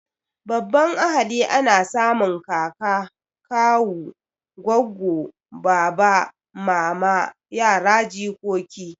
Babban ahali ana samun kaka, kawu, goggo, baba, mama, yara, jikoki